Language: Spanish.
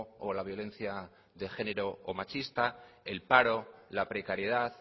o la violencia de género o machista el paro la precariedad